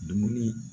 Dumuni